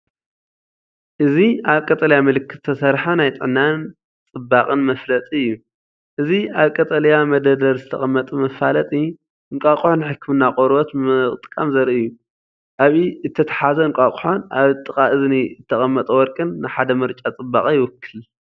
እዚ ኣብ ቀጠልያ ምልክት ዝተሰርሐ ናይ ጥዕናን ጽባቐን መፈለጢ እዩ። እዚ ኣብ ቀጠልያ መደርደሪ ዝተቐመጠ መፋለጢ፡ እንቋቑሖ ንሕክምና ቆርበት ምጥቃም ዘርኢ እዩ፤ ኣብ ኢድ እተታሕዘ እንቋቝሖን ኣብ ጥቓ እዝኒ እተቐመጠ ጨርቅን ንሓደ ምርጫ ጽባቐ ይውክል።